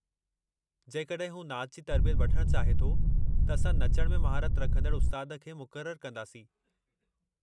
जेकॾहिं हू नाच जी तरबियत वठण चाहे थो त असां नचण में महारत रखंदड़ु उस्तादु खे मुक़ररु कंदासीं।